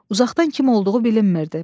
Uzaqdan kim olduğu bilinmirdi.